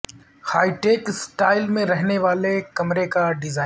high tech style میں رہنے والے کمرے کا ڈیزائن